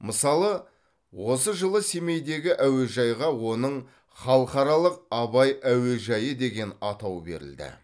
мысалы осы жылы семейдегі әуежайға оның халықаралық абай әуежайы деген атау берілді